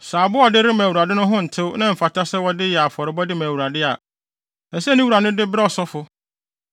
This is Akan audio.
Sɛ aboa a ɔde rema Awurade no ho ntew na ɛmfata sɛ wɔde yɛ afɔrebɔde ma Awurade a, ɛsɛ sɛ ne wura no de brɛ ɔsɔfo,